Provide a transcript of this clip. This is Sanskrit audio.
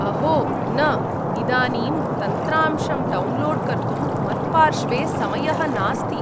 अहो न, इदानीं तन्त्रांशं डौन्लोड् कर्तुं मत्पार्श्वे समयः नास्ति।